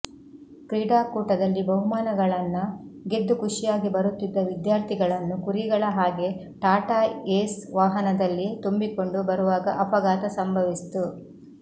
ಕ್ರೀಡಾಕೂಟದಲ್ಲಿ ಬಹುಮಾನಗಳನ್ನ ಗೆದ್ದು ಖಷಿಯಾಗಿ ಬರುತ್ತಿದ್ದ ವಿದ್ಯಾರ್ಥಿಗಳನ್ನು ಕುರಿಗಳ ಹಾಗೇ ಟಾಟಾ ಏಸ್ ವಾಹನದಲ್ಲಿ ತುಂಬಿಕೊಂಡು ಬರುವಾಗ ಅಪಘಾತ ಸಂಭವಿಸಿತ್ತು